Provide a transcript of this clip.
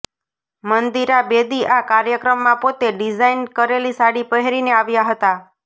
મંદિરા બેદી આ કાર્યક્રમમાં પોતે ડિઝાઇન કરેલી સાડી પહેરીને આવ્યા હતાં